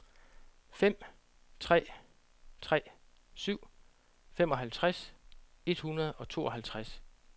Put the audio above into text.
fem tre tre syv femoghalvtreds et hundrede og tooghalvtreds